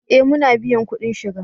Eh muna biyan kudin shiga